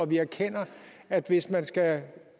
vi erkender at hvis man skal